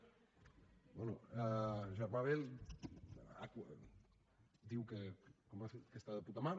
bé germà bel diu que està de puta mare